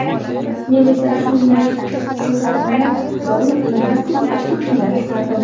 Men esa shu mehr ko‘zlarini doim ingliz tili o‘qituvchimdan kutardim.